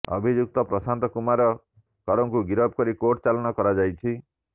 ଅଭିଯୁକ୍ତ ପ୍ରଶାନ୍ତ କୁମାର କରକୁ ଗିରଫ କରି କୋର୍ଟ ଚାଲାଣ କରାଯାଇଛି